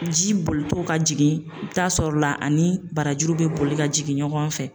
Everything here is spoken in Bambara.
Ji bolitɔ ka jigin, i bi taa sɔrɔ la ani barajuru be boli ka jigin ɲɔgɔn fɛ.